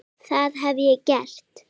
Það hef ég gert.